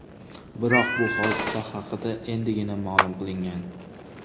Biroq bu hodisa haqida endigina ma’lum qilingan.